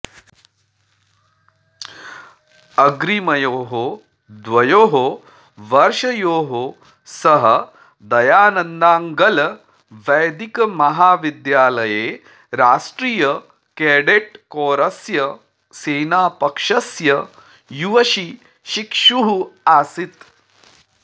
अग्रिमयोः द्वयोः वर्षयोः सः दयानन्दाऽङ्गलवैदिकमहाविद्यालये राष्ट्रीयकैडेटकौरस्य सेनापक्षस्य युवशिशिक्षुः आसीत्